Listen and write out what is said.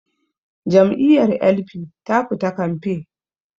Jam'iyyar L.p ta fita kamfe